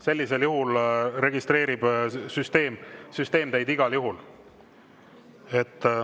Sellisel juhul registreerib süsteem teid igal juhul.